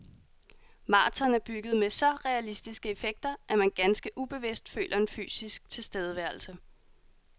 Marathon er bygget med så realistiske effekter, at man ganske ubevidst føler en fysisk tilstedeværelse.